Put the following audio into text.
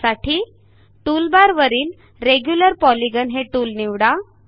त्यासाठी टूलबारवरील regular polygon हे टूल निवडा